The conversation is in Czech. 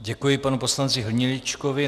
Děkuji panu poslanci Hniličkovi.